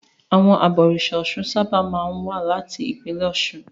Àwọn abọ̀rìṣà Ọ̀ṣun sábà máa ń wá láti ìpínlẹ̀ Ọ̀ṣun.